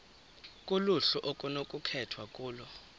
kuluhlu okunokukhethwa kulo